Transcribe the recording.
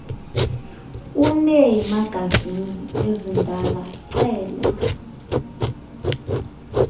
uneemagazini ezindala cela